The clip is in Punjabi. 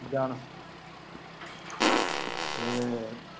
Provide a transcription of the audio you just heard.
ਜਾਣ ਅਤੇ